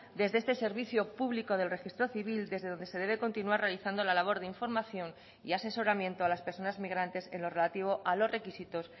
desde este servicio público del registro civil desde donde se debe continuar realizando la labor de información y asesoramiento a las personas migrantes en lo relativo a los requisitos